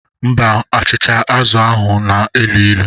Mba, achịcha azụ̀ ahu na elu ilu.